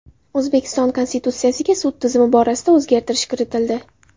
O‘zbekiston Konstitutsiyasiga sud tizimi borasida o‘zgartirish kiritildi.